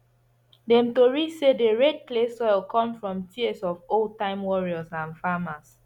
dem tori say the red clay soil come from tears of old time warriors and farmers